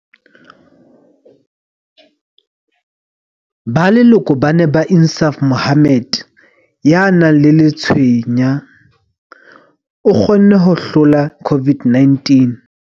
Ba leloko ba ne ba Insaaf Mohammed, ya nang le letshweya, o kgonne ho hlola COVID-19.